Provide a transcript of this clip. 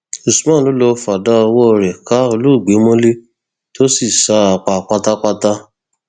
usman ló lọọ fàdákà ọwọ rẹ ká olóògbé mọlẹ tó sì sá a pa pátápátá